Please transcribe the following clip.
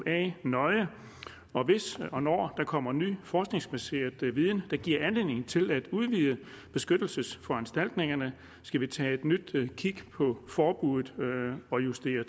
a nøje og hvis eller når der kommer ny forskningsbaseret viden der giver anledning til at udvide beskyttelsesforanstaltningerne skal vi tage et nyt kig på forbuddet og justere